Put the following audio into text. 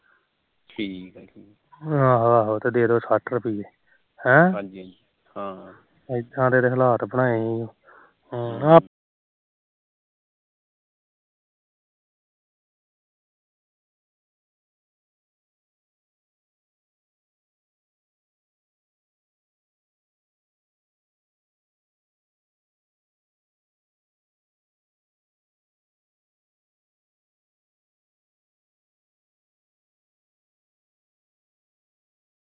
ਠੀਕ ਆਹੋ ਤੇ ਦੇਦੋ ਸੱਠ ਰੁਪੀਏ ਹਾਜੀ ਹਾਜੀ ਹਮ ਹਾ ਇਦਾ ਦੇ ਤਾ ਹਲਾਤ ਬਣਾਏ